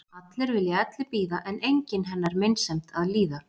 Allir vilja elli bíða en enginn hennar meinsemd að líða.